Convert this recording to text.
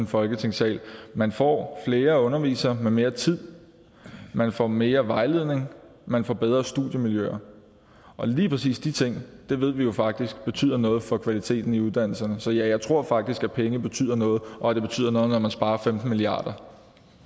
folketingssalen man får flere undervisere med mere tid man får mere vejledning man får bedre studiemiljøer og lige præcis de ting ved vi jo faktisk betyder noget for kvaliteten i uddannelserne så ja jeg tror faktisk at penge betyder noget og at det betyder noget når man sparer femten milliard